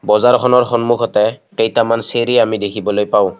বজাৰখনৰ সন্মুখতে কেইটামান চিৰি আমি দেখিবলৈ পাওঁ।